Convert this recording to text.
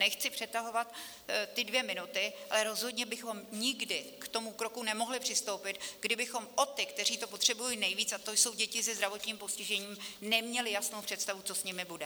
Nechci přetahovat ty dvě minuty, ale rozhodně bychom nikdy k tomu kroku nemohli přistoupit, kdybychom o ty, kteří to potřebují nejvíc, a to jsou děti se zdravotním postižením, neměli jasnou představu, co s nimi bude.